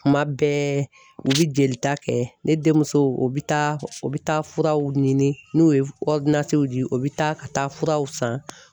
Kuma bɛɛ u bi jelita kɛ ne denmuso u bi taa u bɛ taa furaw ɲini n'u ye di u bi taa ka taa furaw san